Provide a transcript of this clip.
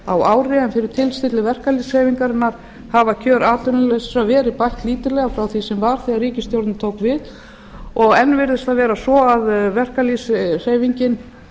á ári en fyrir tilstilli verkalýðshreyfingarinnar hafa kjör atvinnulausra verið bætt lítillega frá því sem var þegar ríkisstjórnin tók við og enn virðist það vera svo að verkalýðshreyfingin